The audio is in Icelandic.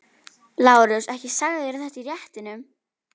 LÁRUS: Ekki sagðirðu þetta í réttinum.